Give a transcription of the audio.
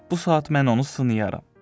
Bu saat mən onu sınayaram.